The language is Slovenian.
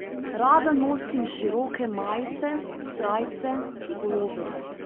Rada nosim široke majice, srajce, puloverje.